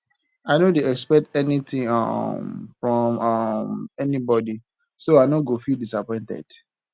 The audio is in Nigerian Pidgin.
i no dey expect anytin um from um anybody so i no go feel disappointed